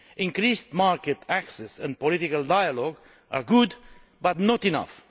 Increased market access and political dialogue are good, but not enough.